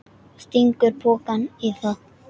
Stingur pokanum í það.